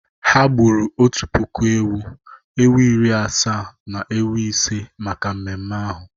Ha gburu otu puku ewu, ewu iri asaa na ewu ise maka mmemme ahu.